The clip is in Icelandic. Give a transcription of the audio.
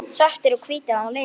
Svartir og hvítir á litinn.